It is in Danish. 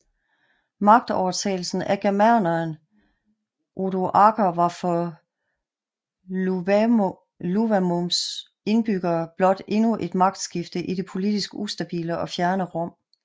Magtovertagelsen af germaneren Odoaker var for Iuvavums indbyggere blot endnu et magtskifte i det politisk ustabile og fjerne Rom